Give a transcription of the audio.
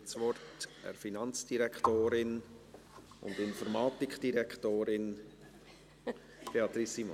Ich übergebe das Wort der Finanz- und Informatikdirektorin Beatrice Simon.